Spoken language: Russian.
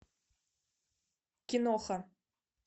киноха